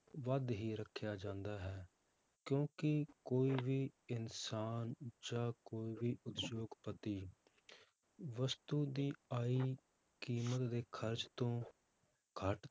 ਵੱਧ ਹੀ ਰੱਖਿਆ ਜਾਂਦਾ ਹੈ ਕਿਉਂਕਿ ਕੋਈ ਵੀ ਇਨਸਾਨ ਜਾਂ ਕੋਈ ਵੀ ਉਦਯੋਗਪਤੀ ਵਸਤੂ ਦੀ ਆਈ ਕੀਮਤ ਦੇ ਖ਼ਰਚ ਤੋਂ ਘੱਟ